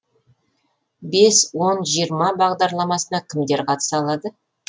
бес он жиырма бағдарламасына кімдер қатыса алады